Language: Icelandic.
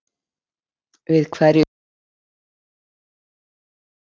Við hverju býst Arnar af deildinni í ár?